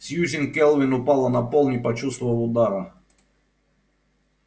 сьюзен кэлвин упала на пол не почувствовав удара